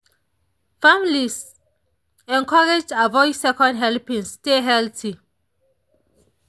families encouraged avoid second helpings stay healthy.